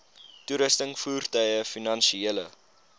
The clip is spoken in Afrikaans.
toerusting voertuie finansiële